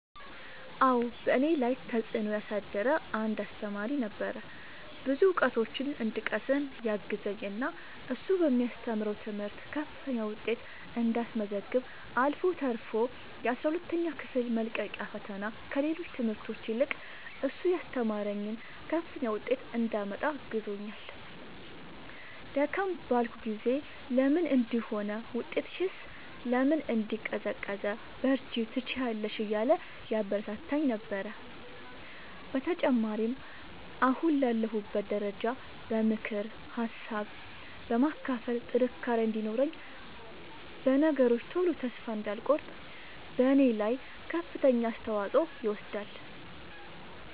አዎ በእኔ ላይ ተፅእኖ ያሳደረ አንድ አሰተማሪ ነበረ። ብዙ እውቀቶችን እንድቀስም ያገዘኝ እና እሱ በሚያስተምረው ትምህርት ከፍተኛ ውጤት እንዳስመዘግብ አልፎ ተርፎ የአስራ ሁለተኛ ክፍል መልቀቂያ ፈተና ከሌሎች ትምህርቶች ይልቅ እሱ ያስተማረኝን ከፍተኛ ውጤት እንዳመጣ አግዞኛል። ደከም ባልኩ ጊዜ ለምን እንዲህ ሆነ ውጤትሽስ ለምን እንዲህ ቀዘቀዘ በርቺ ትችያለሽ እያለ ያበረታታኝ ነበረ። በተጨማሪም አሁን ላለሁበት ደረጃ በምክር ሀሳብ በማካፈል ጥንካሬ እንዲኖረኝ በነገሮች ቶሎ ተስፋ እንዳልቆርጥ በኔ ላይ ከፍተኛውን አስተዋፅኦ ይወስዳል።